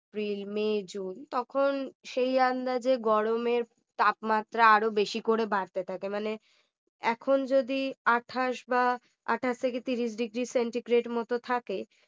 April May June তখন সেই রান্না যে গরমের তাপমাত্রা আরো বেশি করে বাড়তে থাকে মানে এখন যদি আটাশ বা আটাশ থেকে তিরিশ Degree centigrade মতো থাকে